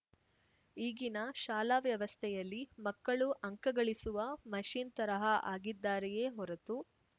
ಈಗಿನ ಶಾಲಾ ವ್ಯವಸ್ಥೆಯಲ್ಲಿ ಮಕ್ಕಳು ಅಂಕ ಗಳಿಸುವ ಮಷಿನ್‌ ತರಹ ಆಗಿದ್ದಾರೆಯೇ ಹೊರತು